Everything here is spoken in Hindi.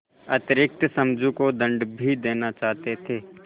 अतिरिक्त समझू को दंड भी देना चाहते थे